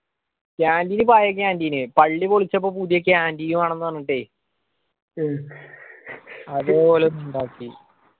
canteen പഴയ canteen പള്ളി പൊളിച്ചപ്പോ പുതിയ canteen വേണമ്ന്ന് പറഞ്ഞിട്ടേ അത് ഓല് ഇണ്ടാക്കി